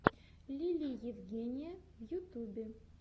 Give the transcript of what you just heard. лили евгения в ютюбе